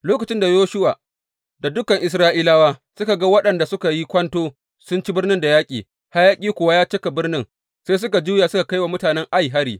Lokacin da Yoshuwa da dukan Isra’ilawa suka ga waɗanda suka yi kwanto sun ci birnin da yaƙi, hayaƙi kuwa ya cika birnin, sai suka juya suka kai wa mutanen Ai hari.